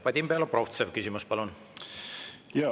Vadim Belobrovtsev, küsimus, palun!